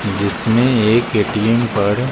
जिसमें एक ए_टी_एम पर --